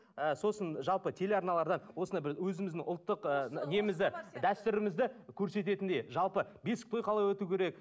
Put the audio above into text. ы сосын жалпы телеарналарда осындай бір өзіміздің ұлттық ы немізді дәстүрімізді көрсететіндей жалпы бесік той қалай өтуі керек